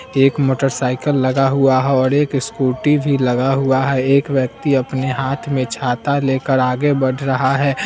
एक motor cycle लगा हुआ है और एक स्कूटी भी लगा हुआ है एक व्यक्ती अपने हाथ में छाता लेकर आगे बढ़ रहा है।